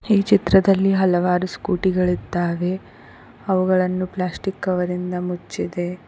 ಈ ಚಿತ್ರದಲ್ಲಿ ಹಲವಾರು ಸ್ಕೂಟಿ ಗಳಿದ್ದಾವೆ ಅವುಗಳನ್ನು ಪ್ಲಾಸ್ಟಿಕ್ ಕವರ್ ರಿಂದ ಮುಚ್ಚಿದೆ.